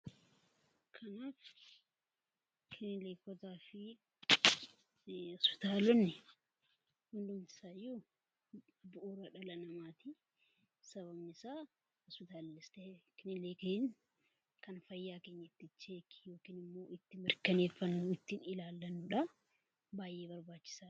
Kiliinikootaa fi hospitaalonni bu'uura dhala namaati. Sababiin isaas kiliinikni yookiin hospitaalli kan fayyaa keenya itti mirkaneeffannudha baay'ee barbaachisaadha.